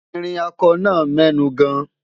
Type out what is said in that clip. ìrìn ako nà mẹnu gan